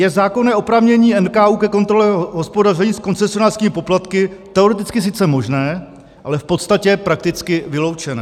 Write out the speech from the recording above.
Je zákonné oprávnění NKÚ ke kontrole hospodaření s koncesionářskými poplatky teoreticky sice možné, ale v podstatě prakticky vyloučené.